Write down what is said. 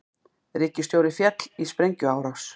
Ríkisstjóri féll í sprengjuárás